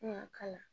Kun ka kala